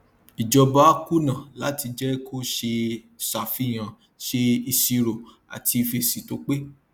ìjọba kùnà láti jẹ kó ṣeé ṣàfihàn ṣe iṣirò àti fèsì tó pé